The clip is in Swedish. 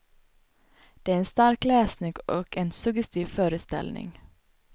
Det är en stark läsning och en suggestiv föreställning.